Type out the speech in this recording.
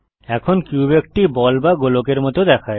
এখন কিউব একটি বল বা গোলকের মত দেখায়